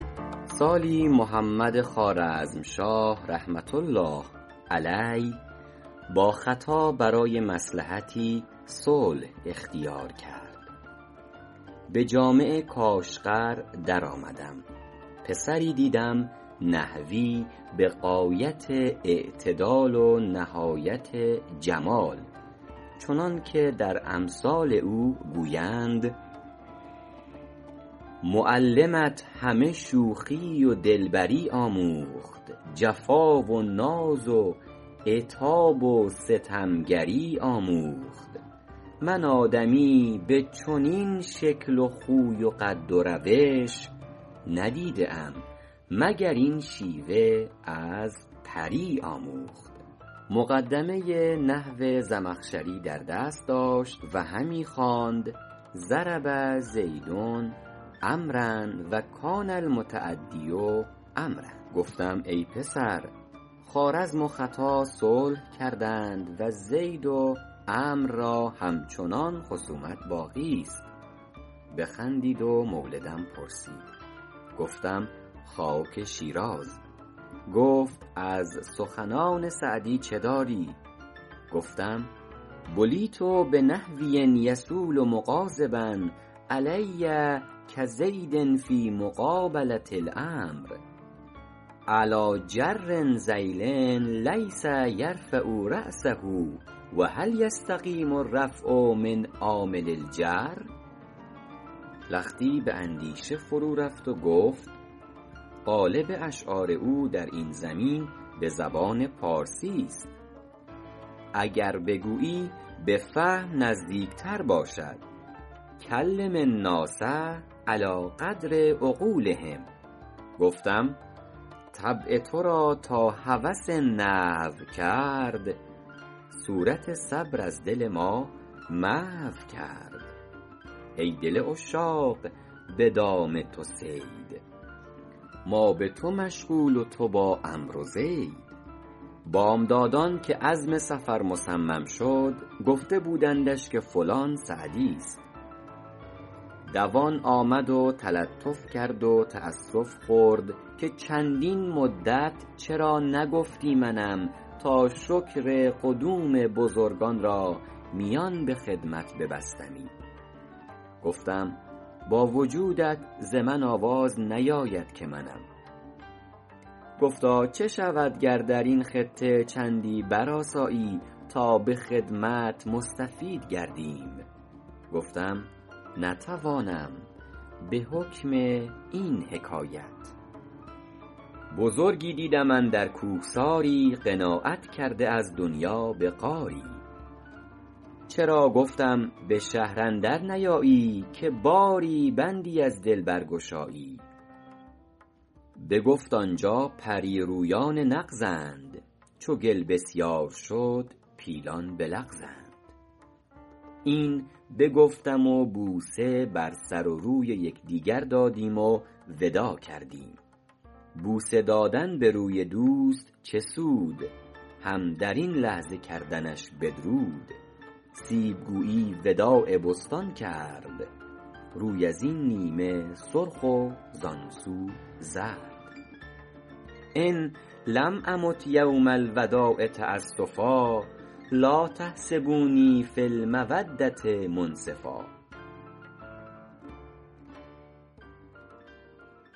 سالی محمد خوارزمشاه رحمة الله علیه با ختا برای مصلحتی صلح اختیار کرد به جامع کاشغر در آمدم پسری دیدم نحوی به غایت اعتدال و نهایت جمال چنان که در امثال او گویند معلمت همه شوخی و دلبری آموخت جفا و ناز و عتاب و ستمگری آموخت من آدمی به چنین شکل و خوی و قد و روش ندیده ام مگر این شیوه از پری آموخت مقدمه ی نحو زمخشری در دست داشت و همی خواند ضرب زید عمروا و کان المتعدی عمروا گفتم ای پسر خوارزم و ختا صلح کردند و زید و عمرو را همچنان خصومت باقیست بخندید و مولدم پرسید گفتم خاک شیراز گفت از سخنان سعدی چه داری گفتم بلیت بنحوی یصول مغاضبا علي کزید فیٖ مقابلة العمرو علیٰ جر ذیل لیس یرفع رأسه و هل یستقیم الرفع من عامل الجر لختی به اندیشه فرو رفت و گفت غالب اشعار او در این زمین به زبان پارسیست اگر بگویی به فهم نزدیک تر باشد کلم الناس علی قدر عقولهم گفتم طبع تو را تا هوس نحو کرد صورت صبر از دل ما محو کرد ای دل عشاق به دام تو صید ما به تو مشغول و تو با عمرو و زید بامدادان که عزم سفر مصمم شد گفته بودندش که فلان سعدیست دوان آمد و تلطف کرد و تأسف خورد که چندین مدت چرا نگفتی منم تا شکر قدوم بزرگان را میان به خدمت ببستمی گفتم با وجودت ز من آواز نیاید که منم گفتا چه شود گر در این خطه چندی برآسایی تا به خدمت مستفید گردیم گفتم نتوانم به حکم این حکایت بزرگی دیدم اندر کوهساری قناعت کرده از دنیا به غاری چرا گفتم به شهر اندر نیایی که باری بندی از دل برگشایی بگفت آنجا پریرویان نغزند چو گل بسیار شد پیلان بلغزند این بگفتم و بوسه بر سر و روی یکدیگر دادیم و وداع کردیم بوسه دادن به روی دوست چه سود هم در این لحظه کردنش بدرود سیب گویی وداع بستان کرد روی از این نیمه سرخ و زآن سو زرد إن لم أمت یوم الوداع تأسفا لا تحسبوني في المودة منصفا